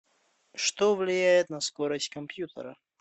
что влияет на скорость компьютера